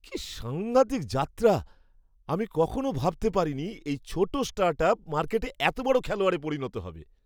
কী সাংঘাতিক যাত্রা! আমি কখনও ভাবতে পারিনি এই ছোট স্টার্টআপ মার্কেটে এত বড় খেলোয়াড়ে পরিণত হবে।